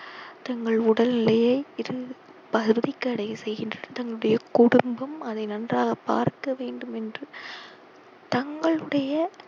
தங்கள் உடல் நிலையை அதை நன்றாக பார்க்க வேண்டும் என்று தங்களுடைய